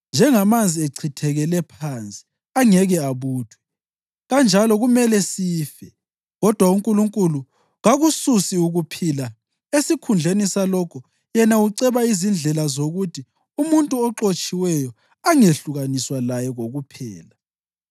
Njengamanzi achithekele phansi, angeke abuthwe, kanjalo kumele sife. Kodwa uNkulunkulu kakususi ukuphila, esikhundleni salokho yena uceba izindlela zokuthi umuntu oxotshiweyo angehlukaniswa laye kokuphela.